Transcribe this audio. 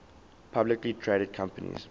publicly traded companies